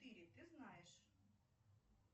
ты знаешь